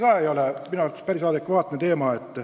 See ei ole minu arvates päris adekvaatne.